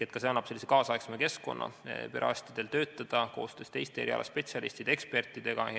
Ka see annab tänapäevasema keskkonna, kus perearstid saavad töötada koostöös teiste erialaspetsialistide ja ekspertidega.